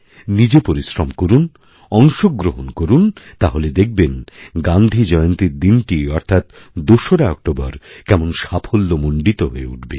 নিজে পরিশ্রম করুন অংশগ্রহণ করুন তাহলে দেখবেন গান্ধীজয়ন্তীর দিনটি অর্থাৎ দোসরা অক্টোবর কেমন সাফল্যমণ্ডিত হয়ে উঠবে